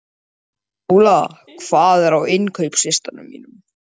Jón náði reyk, leit upp og ávarpaði hann fullum rómi.